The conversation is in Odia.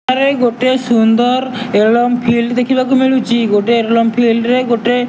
ଆରେ ଗୋଟେ ସୁନ୍ଦର ଏରୋଡ୍ରମ୍ ଫିଲଡ୍ ଦେଖିବାକୁ ମିଳୁଚି। ଗୋଟେ ଏରୋଡ୍ରମ୍ ଫିଲଡ୍ ରେ ଗୋଟେ --